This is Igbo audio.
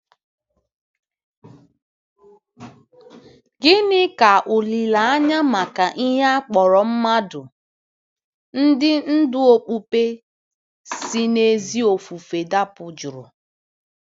Gịnị ka olileanya maka ihe a kpọrọ mmadụ ndị ndú okpukpe si n'ezi ofufe dapụ jụrụ?